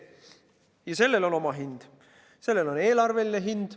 Ja sellel on oma hind, sellel on eelarveline hind.